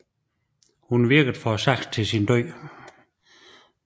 Hun virkede for sagen til sin død